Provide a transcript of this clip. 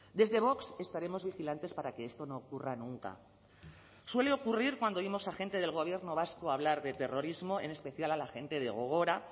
desde vox estaremos vigilantes para que esto no ocurra nunca suele ocurrir cuando oímos a gente del gobierno vasco hablar de terrorismo en especial a la gente de gogora